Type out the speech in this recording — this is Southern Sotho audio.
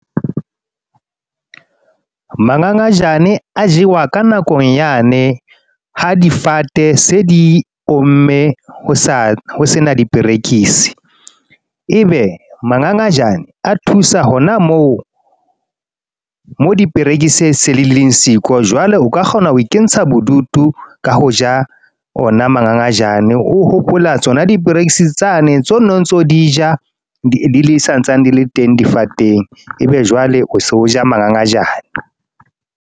Mangangajane a jewa ka nakong yane, ha difate se di omme, ho sena diperekisi. E be mangangajane, a thusa hona moo, mo diperekisi se dileng siko. Jwale o ka kgona ho intsha bodutu ka ho ja ona mangangajane. O hopola tsona diperekisi tsane, tseo no ntso di ja di sa ntsane di le teng difateng. E be jwale o so ja mangangajane.